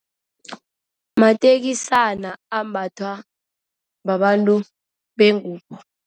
Matekisana ambathwa babantu bengubo.